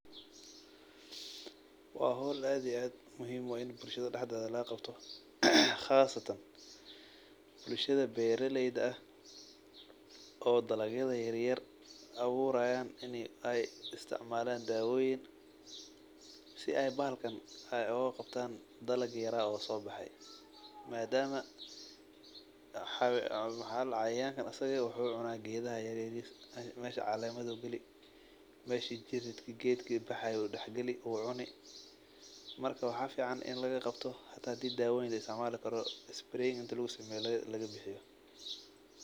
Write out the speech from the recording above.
Waa hawl aad iyo aad muhiim u aah in bulashada daxdedha laga qabto qasatan bulshada beera layda aah oo dalag yadha yaryar abuurayan in ay isticmalan dawoyiin si ay bahalkan ay ugagabtaan dalag yara oo sobaxe. Madaama wax ladaha cayawanka isaga wuxu cuna geedha yaryariska mesha caalemadhu galii mesha jiridka geedka baxayu daxgalii oo cunii marka waxa ficaan in laga qaabto hadii dawoyiin laaisticmalo karoo spray inti lagu sameyo laga bixiyo .